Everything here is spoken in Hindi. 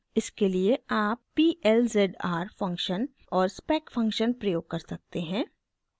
इसके लिए आप p l z r function और spec फंक्शन प्रयोग कर सकते हैं